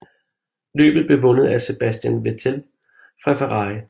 Løbet blev vundet af Sebastian Vettel fra Ferrari